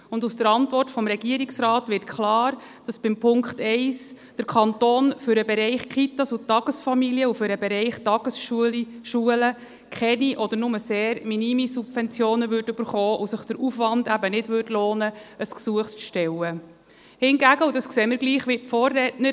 Und aus der Antwort des Regierungsrats zu Punkt 1 wird klar, dass der Kanton für den Bereich Kitas und Tagesfamilien und für den Bereich Tagesschulen keine oder nur sehr minime Subventionen bekommen und sich der Aufwand eben nicht lohnen würde, ein Gesuch zu stellen.